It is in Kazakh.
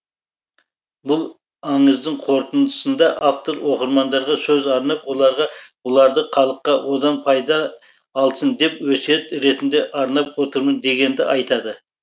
бұл аңыздың қорытындысында автор оқырмандарға сөз арнап оларға бұларды халыққа одан пайда алсын деп өсиет ретінде арнап отырмын дегенді айтады